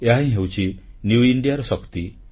ଏହାହିଁ ହେଉଛି ନ୍ୟୁ Indiaର ଶକ୍ତି